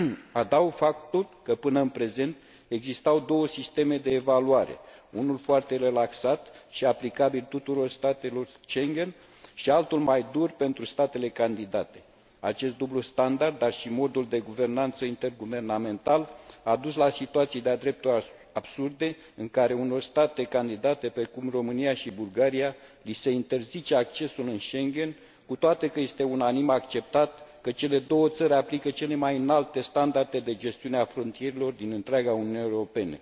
Adaug faptul că, până în prezent, existau două sisteme de evaluare unul foarte relaxat și aplicabil tuturor statelor Schengen și altul mai dur, pentru statele candidate. Acest dublu standard, dar și modul de guvernanță interguvernamental a dus la situații de a dreptul absurde, în care unor state candidate, precum România și Bulgaria, li se interzice accesul în Schengen, cu toate că este unanim acceptat că cele două țări aplică cele mai înalte standarde de gestiune a frontierelor din întreaga Uniune Europeană.